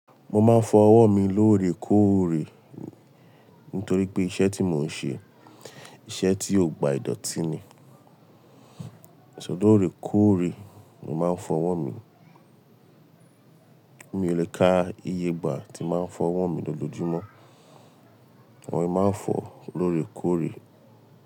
Mo máa ń fọ ọwọ́ mi lóòrèkóòrè nítorí pé iṣẹ́ tí mò ń ṣe, iṣẹ́ tí ó gba ìdọ̀tí ni. Sọ lọòrèkóòrè ni mo máa ń fọ ọwọ́ mi. Mi ò le ká iye ìgbà tí máa ń fọ ọwọ́ mi lójoojumo. Ọwọ́ mi máa ń fọ lóòrèkóòrè.